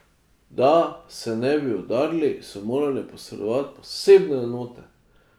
Da se ne bi udarili, so morale posredovati posebne enote.